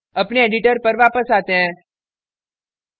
अपने editor पर वापस आते हैं